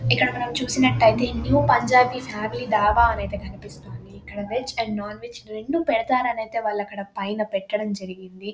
ఇక్కడ మనము చూసినట్లయితే ఇందులో పంజాబీ ఫామిలీ ధాబా అని అయితే కనిపిస్తుంది. ఇక్కడ వెజ్ అండ్ నాన్ వెజ్ రెండు పెడతారు అని ఐతే వాళ్ళు అక్కడ పైన పెట్టడం జరిగింది.